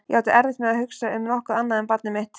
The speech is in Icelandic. Ég átti erfitt með að hugsa um nokkuð annað en barnið mitt.